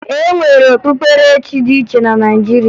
E nwere okpukperechi dị iche iche na Naịjirịa